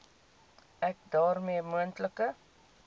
ek daarmee moontlike